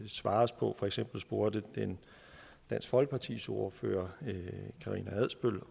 svares på for eksempel spurgte dansk folkepartis ordfører karina adsbøl